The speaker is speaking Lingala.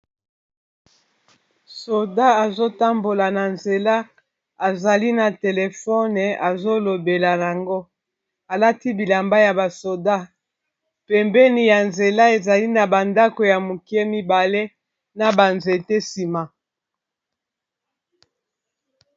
Soda azotambola na nzela azali na telefone azolobela nango alati bilamba ya basoda pembeni ya nzela ezali na ba ndako ya moke mibale na ba nzete nsima.